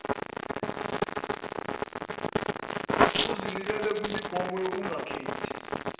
uzinikele kwimigomo yokungakhethi